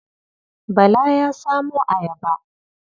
Bala ya samo ayaba.